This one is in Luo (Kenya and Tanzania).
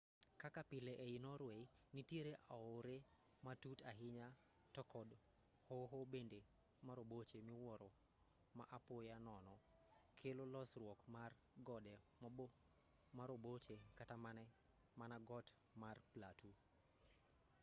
kaka pile ei norway nitiere aore matut ahinya to kod hoho bende maroboche miwuoro ma apoya nono kelo losruok mar gode maroboche kata mana got mar platu